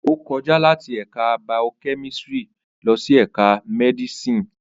Ó kọjá láti ẹ̀ka baokẹ́mísírì lọ sí ẹ̀ka mdísì ìyá